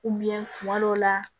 kuma dɔw la